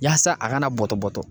ŊYaasa a kana bɔtɔ bɔtɔ